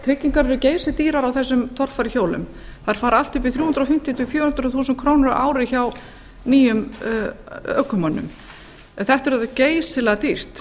tryggingar eru geysidýrar á þessum torfæruhjólum þær fara allt upp í þrjú hundruð fimmtíu til fjögur hundruð þúsund krónur á ári hjá nýjum ökumönnum þetta er alveg geysilega dýrt